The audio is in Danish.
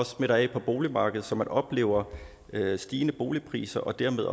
smitter af på boligmarkedet så man oplever stigende boligpriser og dermed